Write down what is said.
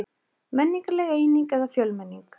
Menningarleg eining eða fjölmenning